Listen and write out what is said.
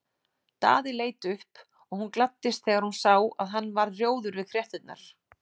Daði leit upp og hún gladdist þegar hún sá að hann varð rjóður við fréttirnar.